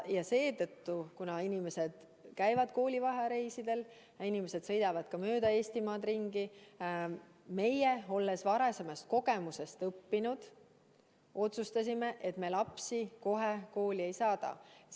Ja kuna inimesed käivad koolivaheajareisidel, inimesed sõidavad ka mööda Eestimaad ringi, siis meie, olles varasemast kogemusest õppinud, otsustasime, et me lapsi kohe kooli ei saada.